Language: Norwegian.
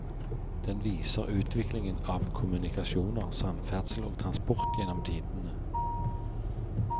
Den viser utviklingen av kommunikasjoner, samferdsel og transport gjennom tidene.